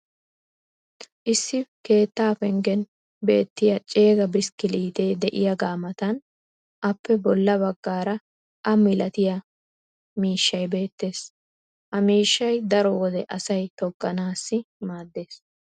issi keettaa penggen beettiya ceegga bishkilliitee diyaaga matan appe bola bagaara a malattiya miishshay beetees. ha miishshay daro wode asay togganaassi maadees.